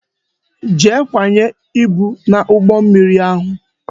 Jee kwanye ibu n'ụgbọ mmiri ahụ